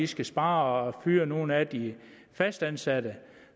skal spare og fyrer nogle af de fastansatte